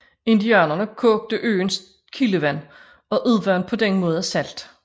Indianerne kogte øens kildevand og udvandt på den måde salt